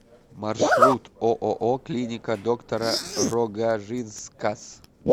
маршрут ооо клиника доктора рогажинскас